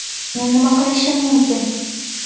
Men nima qilishim mumkin?